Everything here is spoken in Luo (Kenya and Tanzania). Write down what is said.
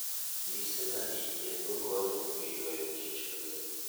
Mise mag yien - go konyo e ywayo kich mang'eny.